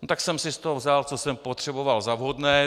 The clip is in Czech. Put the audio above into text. No tak jsem si z toho vzal, co jsem potřeboval za vhodné.